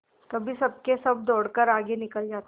कभी सबके सब दौड़कर आगे निकल जाते